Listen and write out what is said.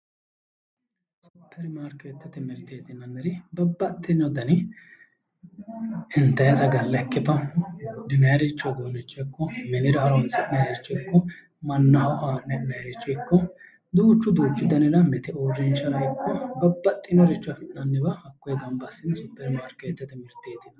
Supperimarkeettete mirteeti yinanniri babbaxxino dani intayi sagalla ikkito buudhinaayiiricho uduunnicho ikko minira horonsi'nayiiricho ikko mannaho haa'ne ha'nayiiricho ikko duuchu duuchu danira mite uurrinshara ikko babbaxxeyooricho afi'nanniwa gamba assine Supperimarkeettete mirteeti yinanni